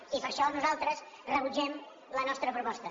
i per això nosaltres rebutgem la seva proposta